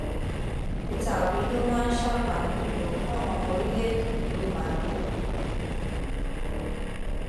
pété obi ló máa ṣàǹfààní jù lọ fáwọn ọmọ orílẹèdè yìíọbànújò